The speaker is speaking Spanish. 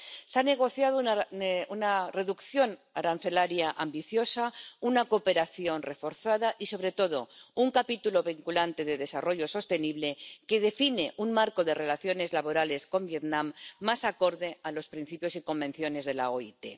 Se ha negociado una reducción arancelaria ambiciosa, una cooperación reforzada y, sobre todo, un capítulo vinculante de desarrollo sostenible que define un marco de relaciones laborales con Vietnam más acorde a los principios y convenios de la OIT.